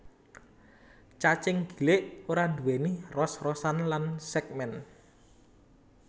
Cacing gilik ora nduwèni ros rosan lan sègmèn